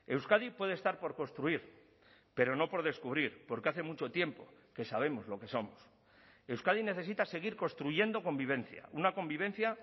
euskadi puede estar por construir pero no por descubrir porque hace mucho tiempo que sabemos lo que somos euskadi necesita seguir construyendo convivencia una convivencia